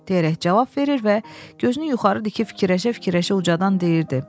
deyərək cavab verir və gözünü yuxarı dikib fikirləşə-fikirləşə ucadan deyirdi.